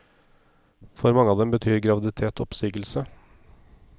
For mange av dem betyr graviditet oppsigelse.